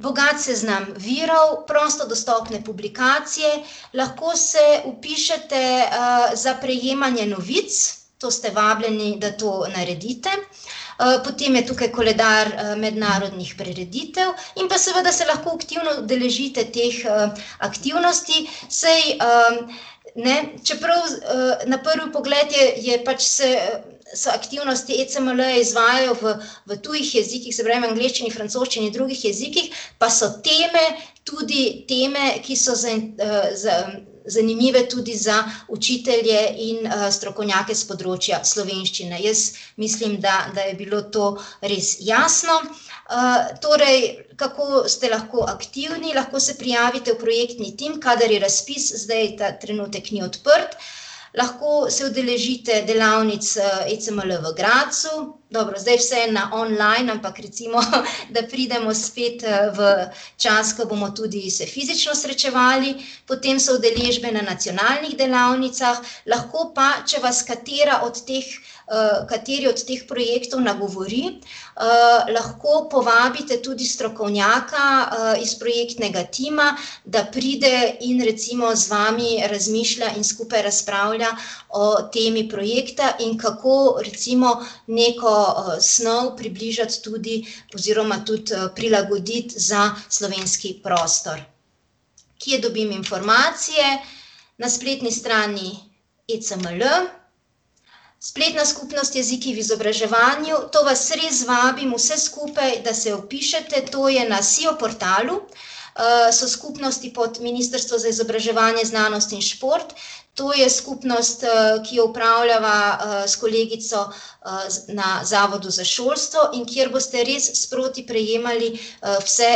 Bogat seznam virov, prosto dostopne publikacije, lahko se vpišete, za prejemanje novic, to ste vabljeni, da to naredite, potem je tukaj koledar mednarodnih prireditev in pa seveda se lahko aktivno udeležite teh, aktivnosti, saj, ne, čeprav na prvi pogled je, je pač se se aktivnosti EECML-ja izvajajo v, v tujih jezikih, se pravi v angleščini, francoščini, drugih jezikih, pa so teme tudi teme, ki so zanimive tudi za učitelje in, strokovnjake s področja slovenščine, jaz mislim, da, da je bilo to res jasno. torej, kako ste lahko aktivni? Lahko se prijavite v projektni tim, kadar je razpis, zdaj ta trenutek ni odprt, lahko se udeležite delavnic, ECML v Gradcu, dobro, zdaj je vse na online, ampak recimo, da pridemo spet, v čas, ko bomo tudi se fizično srečevali, potem so udeležbe na nacionalnih delavnicah, lahko pa, če vas katera od teh, kateri od teh projektov nagovori, lahko povabite tudi strokovnjaka, iz projektnega tima, da pride in recimo z vami skupaj razmišlja in razpravlja o temi projekta in kako recimo neko snov približati tudi oziroma tudi, prilagoditi za slovenski prostor. Kje dobim informacije? Na spletni strani ECML, spletna skupnost Jeziki v izobraževanju, to vas res vabim vse skupaj, da se vpišete, to je na Sio portalu, so skupnosti pod Ministrstvo za izobraževanje, znanost in šport, to je skupnost, ki jo opravljava, s kolegico, na zavodu za šolstvo, in kjer boste res sproti sprejemali, vse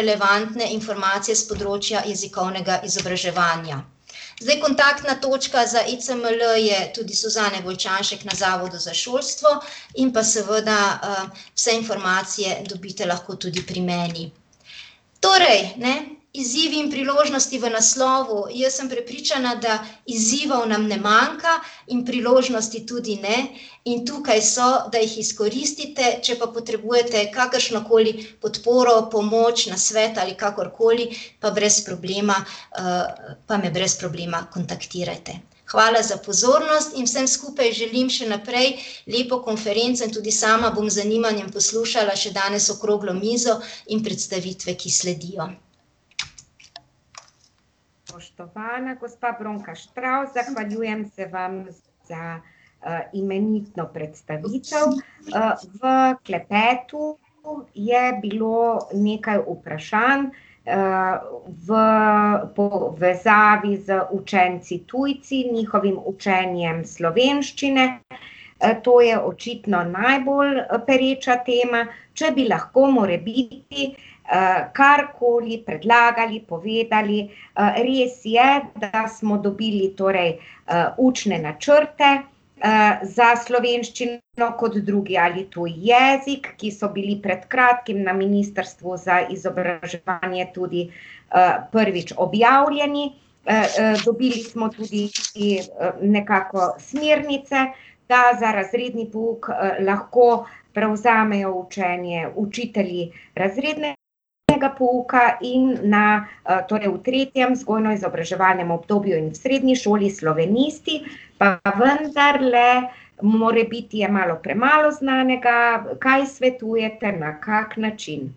relevantne informacije s področja jezikovnega izobraževanja. Zdaj, kontaktna točka za ECML je tudi Suzana Golčanšek na Zavodu za šolstvo in pa seveda, vse informacije dobite lahko tudi pri meni. Torej, ne, izzivi in priložnosti v naslovu, jaz sem prepričana, da izzivov nam ne manjka in priložnosti tudi ne, in tukaj so, da jih izkoristite, če pa potrebujete kakršnokoli podporo, pomoč, nasvet ali kakorkoli, pa brez problema, pa me brez problema kontaktirajte. Hvala za pozornost in vsem skupaj želim še naprej lepo konferenco in tudi sama bom z zanimanjem poslušala še danes okroglo mizo in predstavitve, ki sledijo. Spoštovana gospa Bronka Štravs, zahvaljujem se vam za, imenitno predstavitev, v klepetu je bilo nekaj vprašanj, v povezavi z učenci tujci in njihovim učenjem slovenščine, to je očitno najbolj pereča tema, če bi lahko morebiti, karkoli predlagali, povedali, res je, da smo dobili torej, učne načrte, za slovenščino kot drugi ali tuji jezik, ki so bili pred kratkim na Ministrstvu za izobraževanje tudi, prvič objavljeni, dobili smo tudi nekako smernice, da za razredni pouk lahko prevzamejo učenje učitelji razrednega pouka, in na, torej v tretjem vzgojno-izobraževalnem obdobju in srednji šoli slovenisti, pa vendarle morebiti je malo premalo znanega, kaj svetujete, na kak način?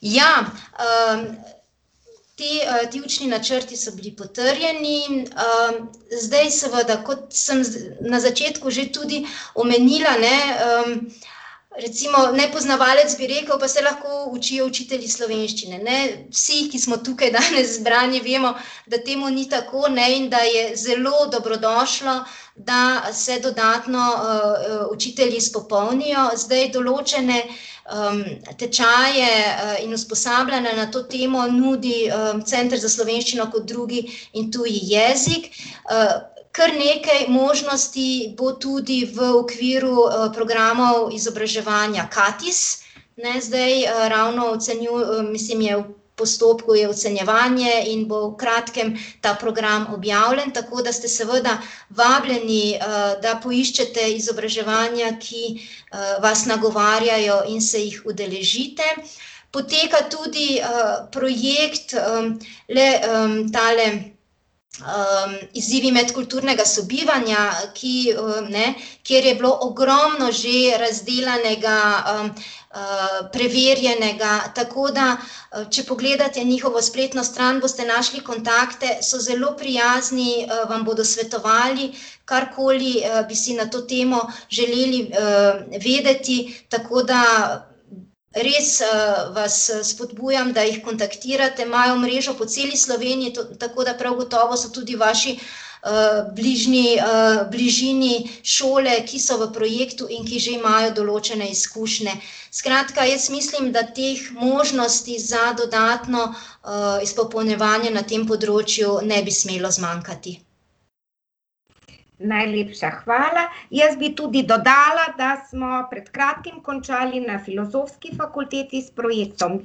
Ja, te, ti učni načrti so bili potrjeni, zdaj seveda, kot sem na začetku že tudi omenila, ne, recimo nepoznavalec bi rekel: "Pa saj lahko učijo učitelji slovenščine." Ne, vsi, ki smo tukaj danes zbrani, vemo, da temu ni tako, ne, in da je zelo dobrodošlo, da se dodatno, učitelji izpopolnijo, zdaj, določene, tečaje, in usposabljanja na to temo nudi, Center za slovenščino kot drugi in tuji jezik, kar nekaj možnosti bo tudi v okviru, programov izobraževanja Katis, ne, zdaj, ravno mislim, je v postopku je ocenjevanje in bo v kratkem ta program objavljen, tako da ste seveda vabljeni, da poiščete izobraževanja, ki, vas nagovarjajo, in se jih udeležite. Poteka tudi, projekt, le, tale, Izzivi medkulturnega sobivanja, ki, ne, kjer je bilo ogromno že razdelanega, preverjenega, tako da, če pogledate njihovo spletno stran, boste našli kontakte, so zelo prijazni, vam bodo svetovali, karkoli, bi si na to temo želeli, vedeti, tako da res, vas spodbujam, da jih kontaktirate, imajo mrežo po celi Sloveniji, tako da prav gotovo so tudi vaši, bližnji, bližini šole, ki so v projektu in že imajo določene izkušnje. Skratka, jaz mislim, da teh možnosti za dodatno, izpopolnjevanje na tem področju ne bi smelo zmanjkati. Najlepša hvala, jaz bi tudi dodala, da smo pred kratkim končali na filozofski fakulteti s projektom ,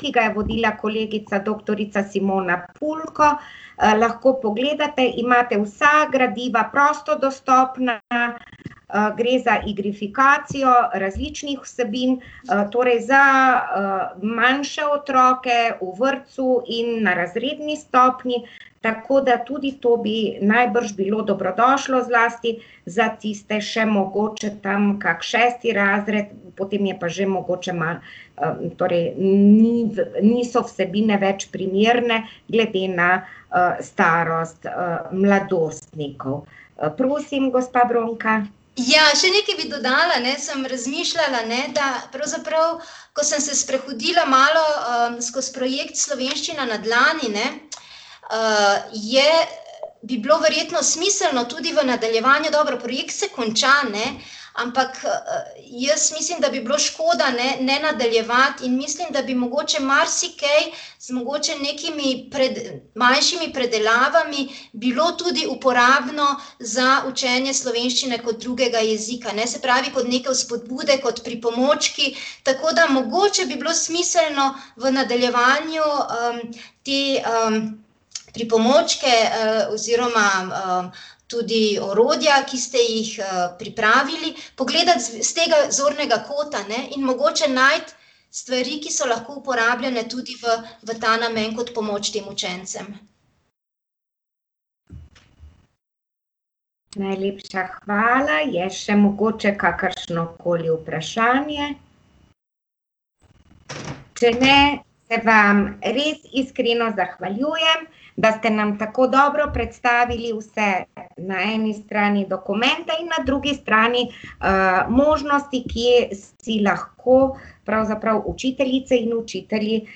ki ga je vodila kolegica doktorica Simona Pulko, lahko pogledate, imate vsa gradiva prosto dostopna, gre za igrifikacijo različnih vsebin, torej za, manjše otroke, v vrtcu in na razredni stopnji, tako da tudi to bi najbrž bilo dobrodošlo, zlasti za tiste še mogoče tam kako šesti razred, potem je pa že mogoče torej niso vsebine več primerne glede na, starost, mladostnikov. prosim, gospa Bronka. Ja, še nekaj bi dodala, ne, sem razmišljala, ne, da pravzaprav, ko sem se sprehodila malo, skozi projekt Slovenščina na dlani, ne, je, bi bilo verjetno smiselno tudi v nadaljevanju, dobro, projekt se konča, ne, ampak, jaz mislim, da bi bilo škoda, ne, ne nadaljevati, mislim, da bi mogoče marsikaj mogoče nekimi manjšimi predelavami bilo tudi uporabno za učenje slovenščine kot drugega jezika, ne, se pravi, kot neke vzpodbude, kot pripomočki, tako da mogoče bi bilo smiselno, v nadaljevanju, te, pripomočke, oziroma, tudi orodja, ki ste jih, pripravili, pogledati s tega zornega kota, ne, in mogoče najti stvari, ki so lahko uporabljane tudi v, v ta namen kot pomoč tem učencem. Najlepša hvala, je še mogoče kakršnokoli vprašanje? Če ne, se vam res iskreno zahvaljujem, da ste nam tako dobro predstavili vse, na eni strani dokumente in na drugi strani, možnosti, kje si lahko pravzaprav učiteljice in učitelji,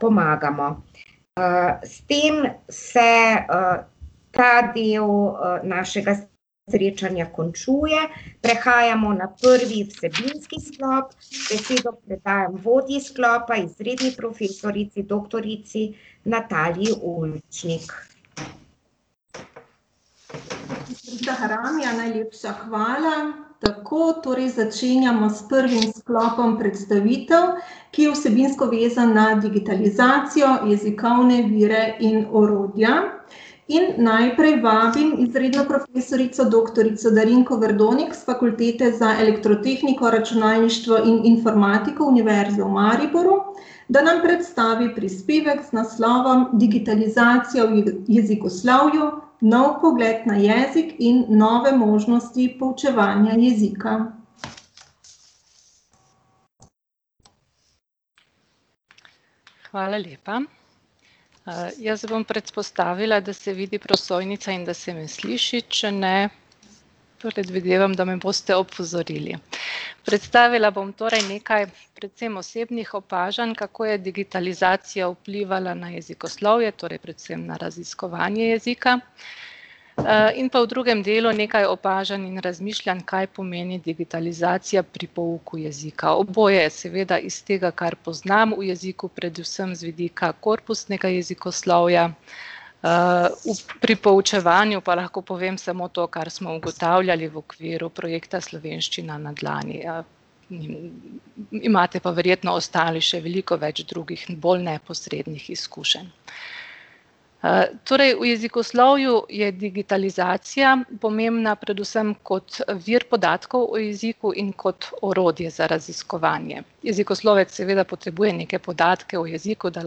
pomagamo. s tem se, ta del, našega srečanja končuje, prehajamo na prvi sredinski sklop, besedo predajam vodji sklopa, izredni profesorici doktorici Nataliji Ulčnik. Haramija, najlepša hvala. Tako, torej začenjamo s prvim sklopom predstavitev, ki je vsebinsko vezana na digitalizacijo, jezikovne vire in orodja. In najprej vabim izredno profesorico doktorico Darinko Verdonik s Fakultete za elektrotehniko, računalništvo in informatiko Univerze v Mariboru, da nam predstavi prispevek z naslovom Digitalizacija v jezikoslovju: nov pogled na jezik in nove možnosti poučevanja jezika. Hvala lepa. jaz bom predpostavila, da se vidi prosojnice in da se me sliši, če ne predvidevam, da me boste opozorili. Predstavila bom torej nekaj predvsem osebnih opažanj, kako je digitalizacija vplivala na jezikoslovje, torej predvsem na raziskovanje jezika, in pa v drugem delu nekaj opažanj in razmišljanj, kaj pomeni digitalizacija pri pouku jezika, oboje je seveda iz tega, kar poznam v jeziku, predvsem z vidika korpusnega jezikoslovja. pri poučevanju pa lahko povem samo to, kar smo ugotavljali v okviru projekta Slovenščina na dlani, imate pa verjetno ostali še veliko več drugih in bolj neposrednih izkušenj. torej v jezikoslovju je digitalizacija pomembna predvsem kot, vir podatkov o jeziku in kot orodje za raziskovanje. Jezikoslovec seveda potrebuje neke podatke o jeziku, da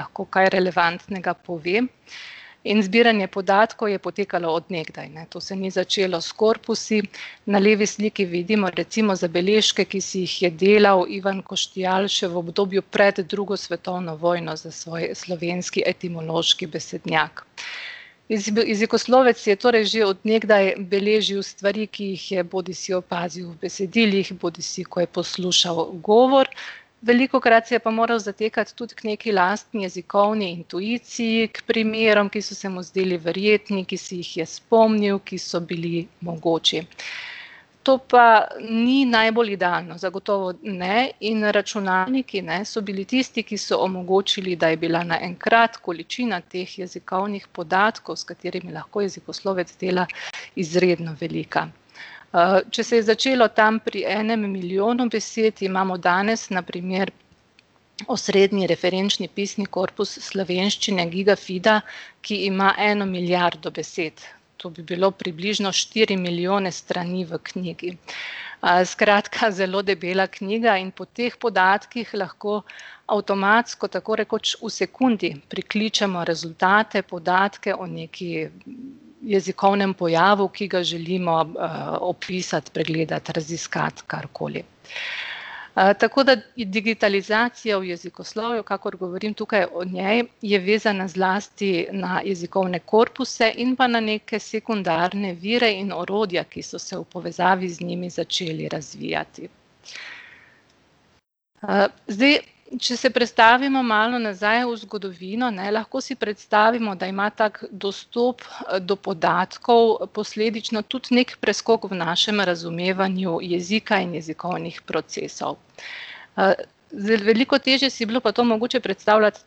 lahko kaj relevantnega pove, in zbiranje podatkov je potekalo od nekdaj, ne, to se ni začelo s korpusi, na levi sliki vidimo recimo zabeležke, ki si jih je delal Ivan Koštiál še v obdobju pred drugo svetovno vojno za svoj slovenski etimološki besednjak. jezikoslovec si je torej že od nekdaj beležil stvari, ki jih je bodisi opazil v besedilih, bodisi ko je poslušal govor, velikokrat se je pa moral zatekati tudi k nekaj lastni jezikovni intuiciji k primerom, ki so se mu zdeli verjetni, ki si jih je spomnil, ki so bili mogoči. To pa ni najbolj idealno, zagotovo ne, in računalniki, ne, so bili tisti, ki so omogočili, da je bila naenkrat količina teh jezikovnih podatkov, s katerimi lahko jezikoslovec dela, izredno velika. če se je začelo tam pri enem milijonu besed, imamo danes, na primer osrednji referenčni pisni korpus slovenščine, Gigafida, ki ima eno milijardo besed, to bi bilo približno štiri milijone strani v knjigi. skratka, zelo debela knjiga, in po teh podatkih lahko avtomatsko, tako rekoč v sekundi prikličemo rezultate, podatke o nekem jezikovnem pojavu, ki ga želimo, opisati, pregledati, raziskati, karkoli. tako da digitalizacija v jezikoslovju, kakor govorim tukaj o njej, je vezana zlasti na jezikovne korpuse in pa na neke sekundarne vire in orodja, ki so se v povezavi z njimi začeli razvijati. zdaj, če se prestavimo malo nazaj v zgodovino, ne, lahko si predstavimo, da ima tako dostop, do podatkov posledično tudi neki preskok v našem razumevanju jezika in jezikovnih procesov. zdaj, veliko težje si je bilo pa to mogoče predstavljati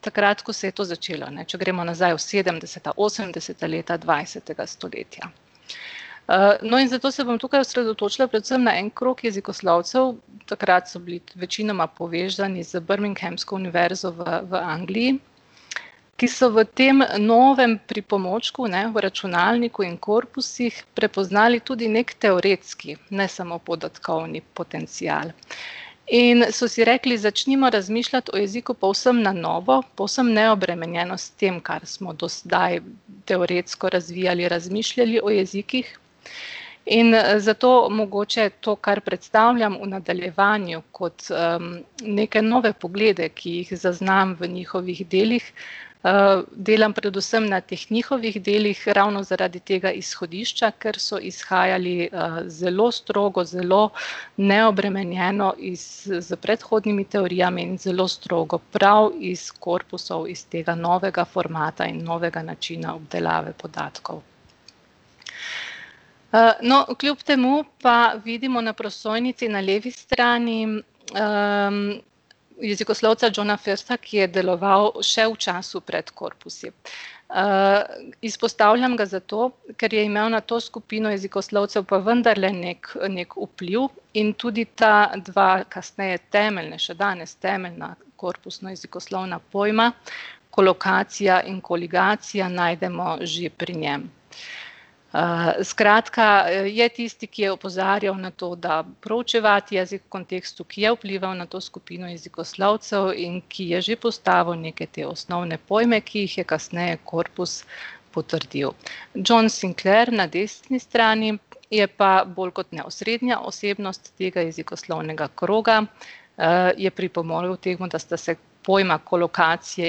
takrat, ko se je to začelo, ne. Če gremo nazaj v sedemdeseta, osemdeseta leta dvajsetega stoletja. no, in zato se bom tukaj osredotočila predvsem na en krog jezikoslovcev, takrat so bili večinoma povezani z birminghamsko univerzo v, v Angliji, ki so v tem novem pripomočku, ne, v računalniku in korpusih, prepoznali tudi neki teoretski, ne samo podatkovni potencial. In so si rekli, začnimo razmišljati o jeziku povsem na novo, povsem neobremenjeno s tem, kar smo do sedaj teoretsko razvijali, razmišljali o jezikih. In zato mogoče to, kar predstavljam, v nadaljevanju kot, neke nove poglede, ki jih zaznam v njihovih delih, delam predvsem na teh njihovih delih, ravno zaradi tega izhodišča, ker so izhajali, zelo strogo, zelo neobremenjeno iz, s predhodnimi teorijami in zelo strogo, prav iz korpusov, iz tega novega formata in novega načina obdelave podatkov. no, kljub temu pa vidimo na prosojnici na levi strani, jezikoslovca Johna Firsta, ki je deloval še v času pred korpusi. izpostavljam ga zato, ker je imel na to skupino jezikoslovcev pa vendarle neki, neki vpliv, in tudi ta dva, kasneje temeljna, še danes temeljna korpusna jezikoslovna pojma, kolokacija in koligacija, najdemo že pri njem. skratka, je tisti, ki je opozarjal na to, da proučevati jezik v kontekstu, ki je vplival na to skupino jezikoslovcev in ki je že postavil neke te osnovne pojme, ki jih je kasneje korpus potrdil. John Sinclair, na desni strani, je pa bolj kot ne osrednja osebnost tega jezikoslovnega kroga, je pripomogel k temu, da sta se pojma kolokacije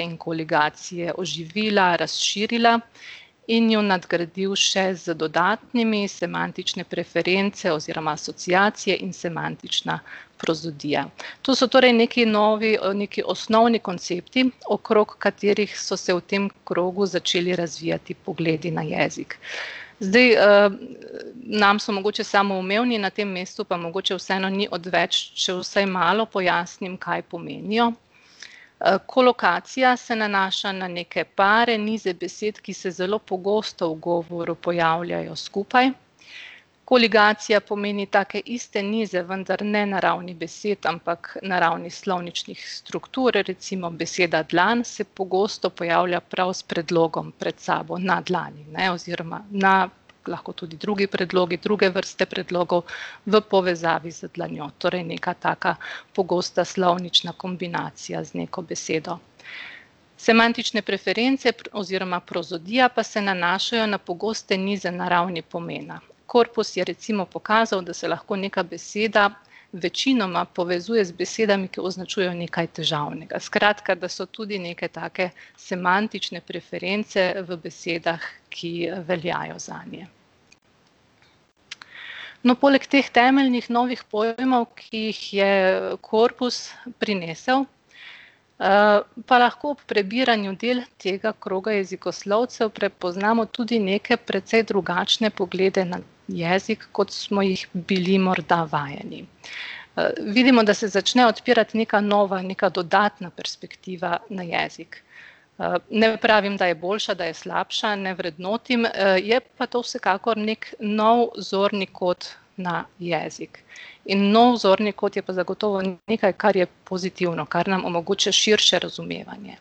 in koligacije oživila, razširila, in ju nadgradil še z dodatnimi, semantične preference oziroma asociacije in semantična prozodija. To so torej neki novi, neki osnovni koncepti, okrog katerih so se v tem krogu začeli razvijati pogledi na jezik. Zdaj, nam so mogoče samoumevni, na tem mestu pa mogoče vseeno ni odveč, če vsaj malo pojasnim, kaj pomenijo. kolokacija se nanaša na neke pare, nize besed, ki se zelo pogosto v govoru pojavljajo skupaj. Koligacija pomeni take iste nize, vendar ne na ravni besed, ampak na ravni slovničnih struktur, recimo beseda dlan se pogosto pojavlja pravi s predlogom pred sabo na dlani, ne, oziroma na lahko tudi drugi predlogi, druge vrste predlogov v povezavi z dlanjo, torej neka taka pogosta slovnična kombinacija z neko besedo. Semantične preference oziroma prozodija pa se nanašajo na pogoste nize na ravni pomena. Korpus je recimo pokazal, da se lahko neka beseda večinoma povezuje z besedami, ki označujejo nekaj težavnega, skratka, da so tudi neke take semantične preference v besedah, ki veljajo zanje. No, poleg teh temeljnih novih pojmov, ki jih je korpus prinesel, pa lahko ob prebiranju del tega kroga jezikoslovcev prepoznamo tudi neke precej drugačne poglede na jezik, kot smo jih bili morda vajeni. vidimo, da se začne odpirati neka nova, neka dodatna perspektiva na jezik. ne pravim, da je boljša, da je slabša, ne vrednotim, je pa to vsekakor neki nov zorni kot na jezik. In nov zorni kot je pa zagotovo nekaj, kar je pozitivno, kar nam omogoča širše razumevanje.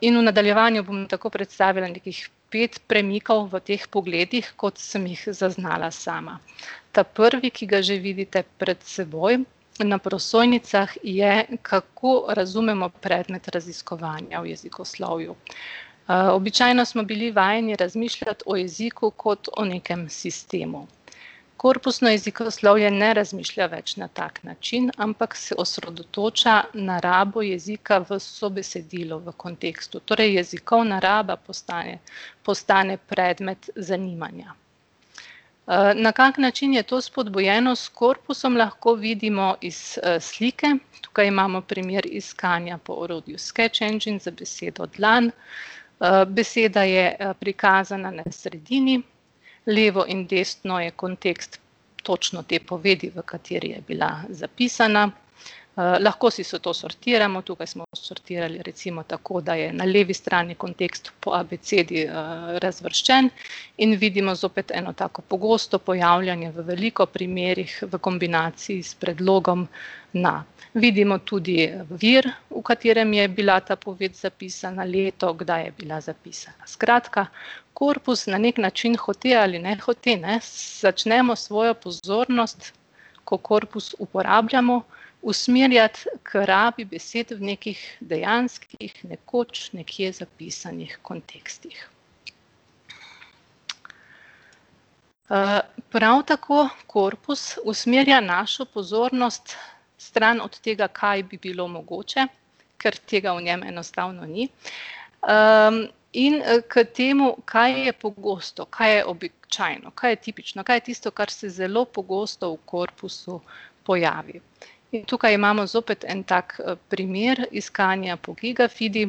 in v nadaljevanju bom tako predstavila nekih pet premikov v teh pogledih, kot sem jih zaznala sama. Ta prvi, ki ga že vidite pred seboj na prosojnicah, je, kako razumemo predmet raziskovanja v jezikoslovju. običajno smo bili vajeni razmišljati o jeziku kot o nekem sistemu. Korpusno jezikoslovje ne razmišlja več na tak način, ampak se osredotoča na rabo jezika v sobesedilu, v kontekstu, torej jezikovna raba postane predmet zanimanja. na kak način je to spodbujeno s korpusom, lahko vidimo iz, slike, tukaj imamo primer iskanja po orodju Sketch Engine za besedo dlan, beseda je, prikazana na sredini. Levo in desno je kontekst točno te povedi, v kateri je bila zapisana, lahko si vse to sortiramo, tukaj smo posortirali recimo tako, da je na levi strani kontekst po abecedi, razvrščen, in vidimo zopet eno tako pogosto pojavljanje v veliko primerih v kombinaciji s predlogom na. Vidimo tudi vir, v katerem je bila ta poved zapisana, leto, kdaj je bila zapisana, skratka, korpus na neki način, hote ali ne hote, ne, začnemo svojo pozornost, ko korpus uporabljamo, usmerjati k rabi besed v nekih dejanskih nekoč, nekje zapisanih kontekstih. prav tako korpus usmerja našo pozornost stran od tega, kaj bi bilo mogoče, ker tega v njem enostavno ni, in, k temu, kaj je pogosto, kaj je običajno, kaj je tipično, kaj je tisto, kar se zelo pogosto v korpusu pojavi. In tukaj imamo zopet en, tak primer iskanja po Gigafidi,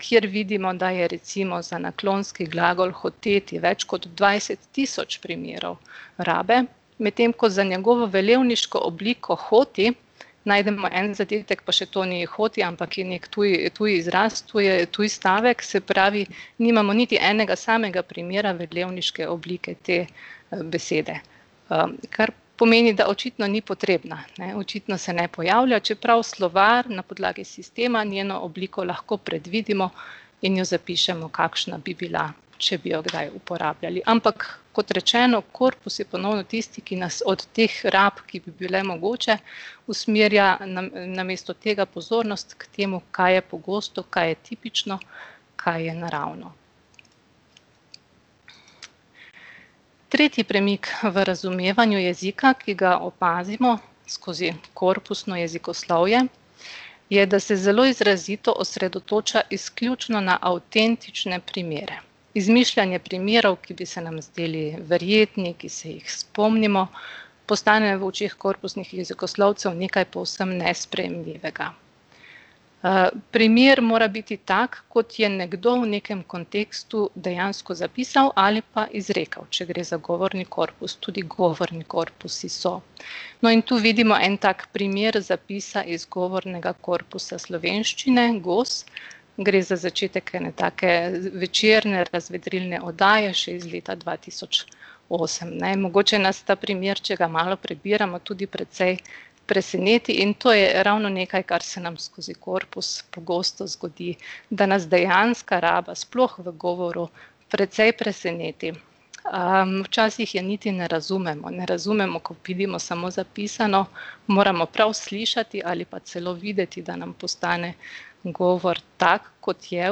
kjer vidimo, da je recimo za naklonski glagol hoteti več kot dvajset tisoč primerov rabe. Medtem ko za njegovo velelniško obliko hoti najdemo en zadetek, pa še to ni hoti, ampak je neki tuji, tuji izraz, to je tuj stavek, se pravi, nimamo niti enega samega primera velelniške oblike te besede. kar pomeni, da očitno ni potrebna, ne, očitno se ne pojavlja, čeprav slovar, na podlagi sistema njeno obliko lahko predvidimo in jo zapišemo, kakšna bi bila, če bi jo kdaj uporabljali, ampak kot rečeno, korpus je po novem tisti, ki nas od teh rab, ki bi bile mogoče, usmerja namesto tega pozornost k temu, kaj je pogosto, kaj je tipično, kaj je naravno. Tretji premik v razumevanju jezika, ki ga opazimo skozi korpusno jezikoslovje, je, da se zelo izrazito osredotoča izključno na avtentične primere. Izmišljanje primerov, ki bi se nam zdeli verjetni, ki se jih spomnimo, postanejo v očeh korpusnih jezikoslovcev nekaj povsem nesprejemljivega. primer mora biti tako, kot je nekdo v nekem kontekstu dejansko zapisal ali pa izrekel, če gre za govorni korpus, tudi govorni korpusi so. No, in tu vidimo en tak primer zapisa iz govornega korpusa slovenščine Gos, gre za začetek ene take večerne razvedrilne oddaje še iz leta dva tisoč osem, ne, mogoče nas ta primer, če ga malo prebiramo, tudi precej preseneti, in to je ravno nekaj, kar se nam skozi korpus pogosto zgodi, da nas dejanska raba, sploh v govoru, precej preseneti. včasih je niti ne razumemo, ne razumemo, ko vidimo samo zapisano, moramo prav slišati ali pa celo videti, da nam postane govor tako, kot je